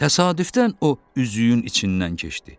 Təsadüfdən o üzüyün içindən keçdi.